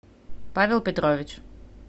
павел петрович